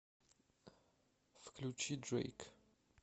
включи дрэйк